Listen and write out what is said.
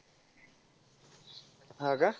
हा का?